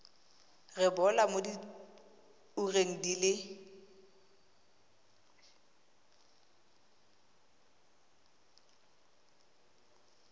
rebolwa mo diureng di le